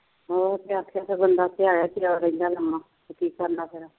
ਹੋਰ ਕੀ ਆਖੇ ਫੇਰ ਬੰਦਾ ਥਿਆਇਆਂ ਥਿਊਆ ਕੀ ਬਣਦਾ ਫੇਰ